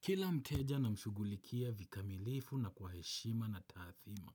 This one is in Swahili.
Kila mteja namshugulikia vikamilifu na kwa heshima na taathima